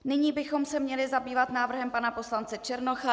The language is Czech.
Nyní bychom se měli zabývat návrhem pana poslance Černocha.